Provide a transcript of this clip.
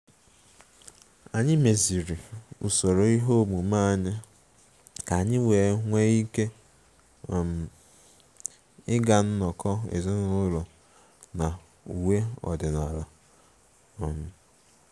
Anyị meziri usoro ihe omume anyị ka anyị nwee ike um ịga nnọkọ ezinụlọ na uwe ọdịnala um